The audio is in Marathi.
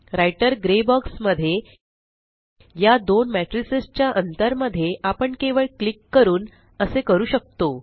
राइटर ग्रे बॉक्स मध्ये या दोन मेट्रिसस च्या अंतर मध्ये आपण केवळ क्लिक करून असे करू शकतो